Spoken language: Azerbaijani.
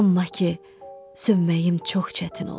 Amma ki, sönməyim çox çətin olur.